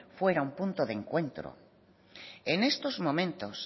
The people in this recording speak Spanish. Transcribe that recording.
fuera un punto de encuentro en estos momentos